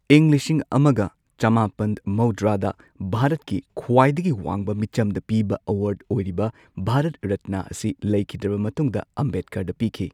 ꯏꯪ ꯂꯤꯁꯤꯡ ꯑꯃꯒ ꯆꯃꯥꯄꯟ ꯃꯧꯗ꯭ꯔꯥꯗ ꯚꯥꯔꯠꯀꯤ ꯈ꯭ꯋꯥꯏꯗꯒꯤ ꯋꯥꯡꯕ ꯃꯤꯆꯝꯗ ꯄꯤꯕ ꯑꯦꯋꯥꯔꯗ ꯑꯣꯏꯔꯤꯕ ꯚꯥꯔꯠ ꯔꯠꯅꯥ ꯑꯁꯤ ꯂꯩꯈꯤꯗ꯭ꯔꯕ ꯃꯇꯨꯡꯗ ꯑꯝꯕꯦꯗꯀꯔꯗ ꯄꯤꯈꯤ꯫